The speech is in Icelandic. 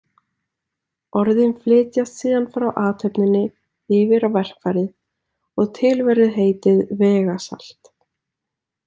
Orðin flytjast síðan frá athöfninni yfir á verkfærið og til verður heitið vegasalt.